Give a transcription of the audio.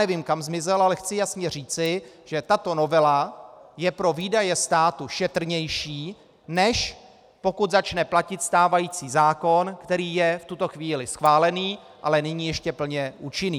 Nevím, kam zmizel, ale chci jasně říci, že tato novela je pro výdaje státu šetrnější, než pokud začne platit stávající zákon, který je v tuto chvíli schválený, ale není ještě plně účinný.